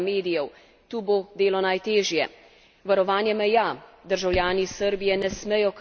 Varovanje meja državljani Srbije ne smejo kršiti pravil brezvizumskega potovanja.